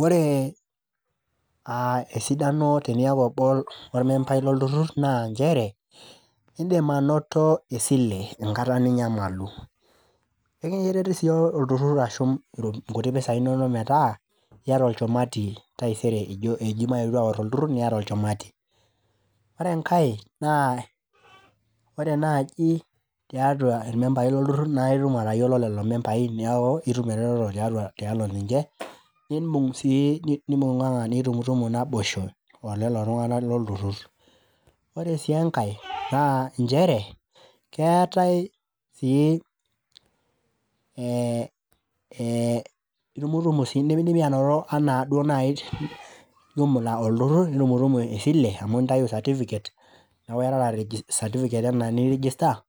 Wore aa esidano teniaku obo lormembai lolturur naa nchere , indim anoto esile enkata ninyamalu .enkiretu sii olturtur ashum inkuti pisai inonok metaa iyata olchumati taisere eji maetu aor olturur niata olchumati. Ore enkae naa , ore naji tiatua irmembai loturur naa itum atayiolo lelo membai niaku itum ereteto tialo ninche , nibung sii, nibunganga nitumutumu naboisho olelo tunganak loltururur. Ore sii enkae naa keetae sii ee ee itumutumu sii , indimidimi anoto nai jumla oltururur amu intayuyu certificate, niaku iyatata certificate ena nirgister